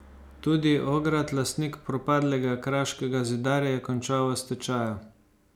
Tudi Ograd, lastnik propadlega Kraškega zidarja, je končal v stečaju.